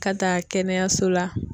Ka taa kɛnɛyaso la.